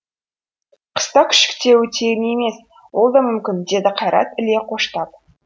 қыста күшіктеуі тегін емес ол да мүмкін деді қайрат іле қоштап